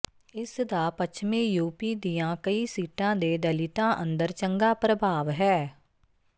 ਇਸ ਦਾ ਪੱਛਮੀ ਯੂ ਪੀ ਦੀਆਂ ਕਈ ਸੀਟਾਂ ਦੇ ਦਲਿਤਾਂ ਅੰਦਰ ਚੰਗਾ ਪ੍ਰਭਾਵ ਹੈ